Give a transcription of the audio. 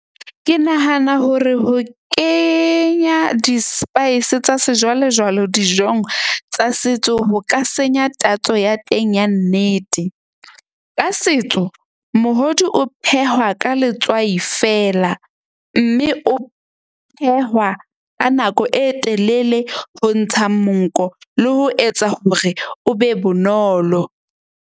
Ke nahana hore ho kenya di-spice tsa sejwalejwale dijong tsa setso ho ka senya tatso ya teng ya nnete. Ka setso mohodu o phehwa ka letswai feela. Mme o phehwa ka nako e telele, ho ntsha monko le ho etsa hore o be bonolo.